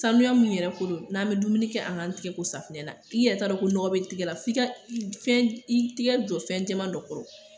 Sanuya min yɛrɛ ko don n'a bɛ dumuni kɛ anik'an tɛgɛ ko safunɛ na i yɛrɛ t'a dɔn ko nɔgɔ bɛ bɔ i tɛgɛ la fo i ka i tɛgɛ jɔ fɛn jɛman dɔ kɔrɔ